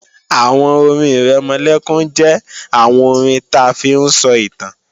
Àwọn orin-ìrẹmọlẹ́kún jẹ́ àwọn orin ta fi ń sọ ìtàn